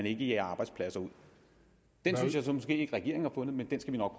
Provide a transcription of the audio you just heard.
ikke jager arbejdspladser ud den synes jeg måske ikke regeringen har fundet men den skal vi nok